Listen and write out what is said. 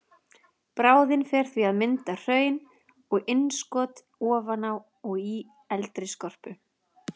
Bráðin fer því í að mynda hraun og innskot ofan á og í eldri skorpu.